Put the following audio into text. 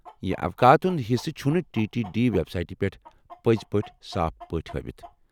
یہ اوقاتن ہُند حِصہٕ چُھنہٕ ٹی ٹی ڈی وٮ۪بسایٹہِ پٮ۪ٹھ پزی صاف پٲٹھۍ ہٲوتھ ۔